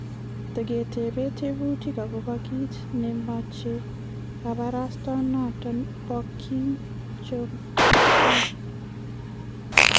Tagetebe tebutiik agobo kiit nemeche kabarastaenoto bo Kim Jong Un